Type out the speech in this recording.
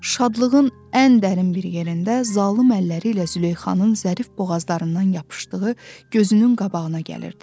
Şadlığın ən dərin bir yerində zalım əlləri ilə Züleyxanın zərif boğazlarından yapışdığı gözünün qabağına gəlirdi.